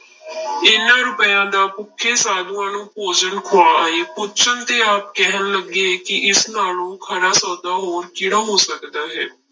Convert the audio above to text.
ਇਹਨਾਂ ਰੁਪਇਆਂ ਦਾ ਭੁੱਖੇ ਸਾਧੂਆਂ ਨੂੰ ਭੋਜਨ ਖਵਾ ਆਏ ਪੁੱਛਣ ਤੇ ਆਪ ਕਹਿਣ ਲੱਗੇ ਕਿ ਇਸ ਨਾਲੋਂ ਖਰਾ ਸੌਦਾ ਹੋਰ ਕਿਹੜਾ ਹੋ ਸਕਦਾ ਹੈ।